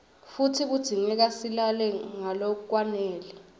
futsi kudzingeka silale ngalokwanele